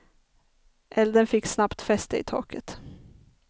Elden fick snabbt fäste i taket.